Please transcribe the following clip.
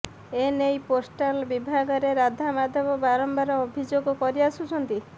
ଏ ନେଇ ପୋଷ୍ଟାଲ ବିଭାଗରେ ରାଧାମାଧବ ବାରମ୍ବାର ଅଭିଯୋଗ କରିଆସୁଛନ୍ତି